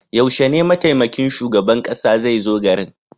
Yaushe ne mataimakin shugaban kasa zai zo garin?